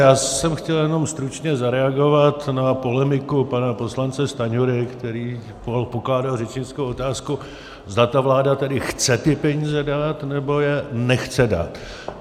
Já jsem chtěl jenom stručně zareagovat na polemiku pana poslance Stanjury, který pokládal řečnickou otázku, zda ta vláda tedy chce ty peníze dát, nebo je nechce dát.